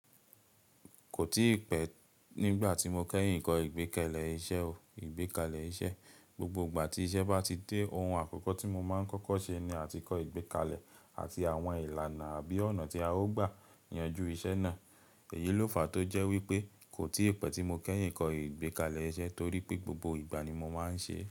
Kò tí pẹ́ nígbà tí mo kẹ́yìn ń kọ ìgbékalẹ̀ iṣẹ́ o. Ìgbékalẹ̀ iṣẹ́, gbogbo ìgbà tí iṣẹ́ bá ti dé, ohun àkọ́kọ́ tí mo máa ń kọ́kọ́ ṣe ni àtíkọ̀ ìgbékalẹ̀ àti àwọn ìlànà àbí ọ̀nà tí a ó gbà yanjú iṣẹ́ náà. Èyí ló fàá tó jẹ́ wípé, kò tí pẹ́ tí mo kẹ́yìn ń kọ ìgbékalẹ̀ iṣẹ́ torí pé gbogbo ìgbà ni mo máa ń ṣe é.